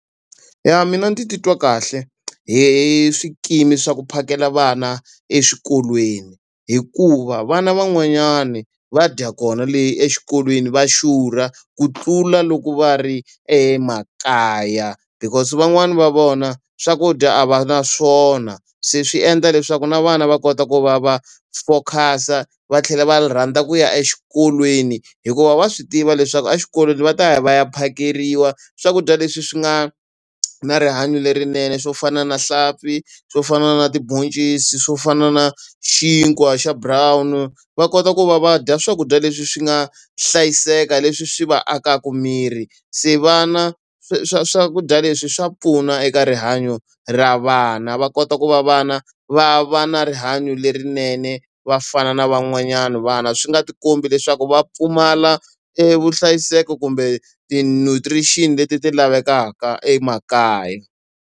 Ya mina ndzi titwa kahle hi hi hi swikimi swa ku phakela vana exikolweni. Hikuva vana van'wanyani va dya kona le exikolweni va xurha ku tlula loko va ri emakaya. Because van'wani va vona swakudya a va na swona, se swi endla leswaku na vana va kota ku va va focus-a va tlhela va rhandza ku ya exikolweni hikuva wa swi tiva leswaku exikolweni va ta ya va ya phakeriwa swakudya leswi swi nga na rihanyo lerinene. Swo fana na nhlampfi, swo fana na tibhoncisi, swo fana na xinkwa xa brown, va kota ku va va dya swakudya leswi swi nga hlayiseka leswi swi va akaka miri. Se vana swakudya leswi swa pfuna eka rihanyo ra vana. Va kota ku va vana va va na rihanyo lerinene va fana na van'wanyana vana swi nga ti kombi leswaku va pfumala e vuhlayiseko kumbe ti-nutrition leti ti lavekaka emakaya.